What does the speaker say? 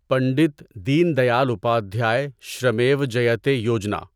Pandit Deen Dayal Upadhyay Shramev Jayate Yojana